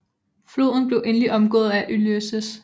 Floden blev endelig omgået af Ulysses S